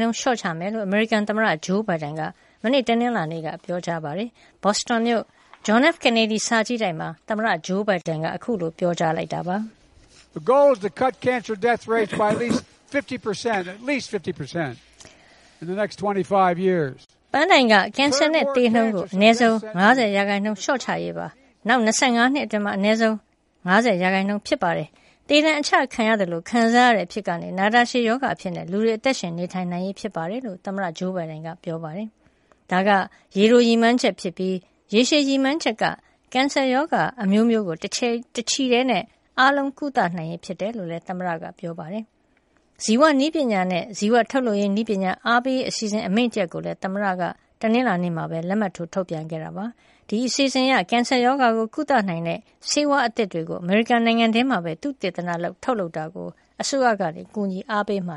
နှုန်းလျှော့ချမယ်လို့ အမေရိကန်သမ္မတဘိုင်ဒန်က မနေ့က ပြောလိုက်ပါတယ်။ ဘော့စတွန်မြို့ John F. Kennedy စာကြည့်တိုက် မှာ သမ္မတဂျိုးဘိုင်ဒန်က ခုလို ပြောလိုက်တာ ဖြစ်ပါတယ်။ “ပန်းတိုင် က ကင်ဆာသေနှုန်းကို အနည်းဆုံး ၅၀ ရာနှုန်းလျှော့ချရေးပါ။ နောက် ၂၅ နှစ်အတွင်းမှာ အနည်းဆုံး ၅၀ ရာနှုန်း ဖြစ်ပါတယ်။ သေဒဏ်အချခံရတဲ့အဖြစ်ကနေ နာတာရှည်ရောဂါအဖြစ်နဲ့ လူတွေအသက်ရှင်နေထိုင်နိုင်ရေး ဖြစ်ပါတယ်။” လို့ သမ္မတ ဂျိုးဘိုင်ဒန်က ပြောသွားတာပါ။ ဒါက ရေတိုရည်မှန်းချက်ဖြစ်ပြီး ရေရှည်ရည်မှန်းချက်ကတော့ ကင်ဆာရောဂါ အမျိုးမျိုးကို တချီတည်း အားလုံး ကုသနိုင်ရေးဖြစ်ပါတယ်လို့ သမ္မတဘိုင်ဒန်က ပြောကြားသွားပါတယ်။ ဇီဝနည်းပညာနဲ့ ဇီဝထုတ်လုပ်ရေး နည်းပညာအားပေးရေးအစီအစဉ် အမိန့်တရပ်ကိုလည်း သမ္မတဘိုင်ဒန်က တနင်္လာနေ့ မှာ လက်မှတ်ထိုးထုတ်ပြန်ခဲ့ပါသေးတယ်။ ဒီ အစီအစဉ်အရ ကင်ဆာရောဂါကုသနိုင်တဲ့ ဆေးဝါးအသစ်တွေကို အမေရိကန်နိုင်ငံထဲမှာပဲ သုတေသနလုပ် ထုတ်လုပ်တာကို အစိုးရက ကူညီအားပေးမ